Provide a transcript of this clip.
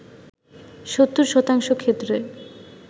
৭০ শতাংশ ক্ষেত্রে